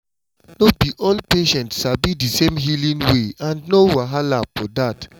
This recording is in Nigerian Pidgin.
no be all patients sabi di same healing way and no wahala for dat!